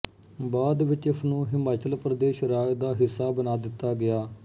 ਬਾਅਦ ਵਿੱਚ ਇਸਨੂੰ ਹਿਮਾਚਲ ਪ੍ਰਦੇਸ ਰਾਜ ਦਾ ਹਿੱਸਾ ਬਣਾ ਦਿੱਤਾ ਗਿਆ